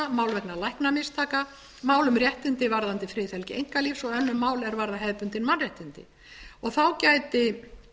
vegna læknamistaka mál um réttindi varðandi friðhelgi einkalífs og önnur mál er varða hefðbundin mannréttindi þá gæti